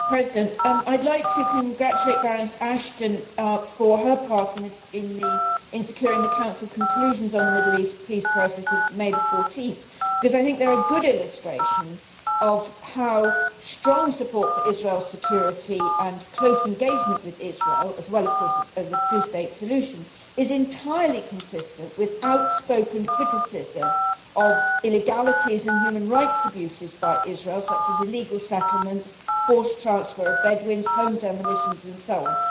Mr President, I would like to congratulate Baroness Ashton for her part in securing the Council conclusions on the Middle East peace process of 14 May because I think they are a good illustration of how strong support for Israel's security and close engagement with Israel as well, of course, for the two state solution is entirely consistent with outspoken criticism of illegalities and human rights abuses by Israel, such as illegal settlement, forced transfer of Bedouins, home demolitions and so on.